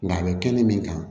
Nka a bɛ kɛnɛ min kan